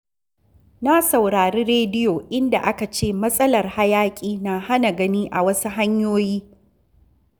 Na saurari rediyo, inda aka ce matsalar hayaƙi na hana gani a wasu hanyoyi.